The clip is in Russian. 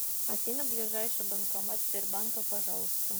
афина ближайший банкомат сбербанка пожалуйста